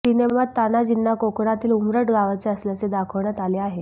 सिनेमात तान्हाजींना कोकणातील उमरठ गावाचे असल्याचे दाखवण्यात आले आहे